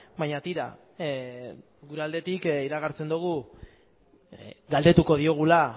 baina tira gure aldetik iragartzen dugu galdetuko diogula